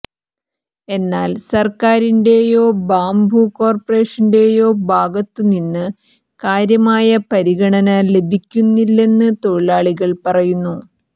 എന്നാൽ സർക്കാരിന്റെയോ ബാംബു കോർപ്പറേഷന്റെയോ ഭാഗത്തുനിന്ന് കാര്യമായ പരിഗണന ലഭിക്കുന്നില്ലെന്ന് തൊഴിലാളികൾ പറയുന്നു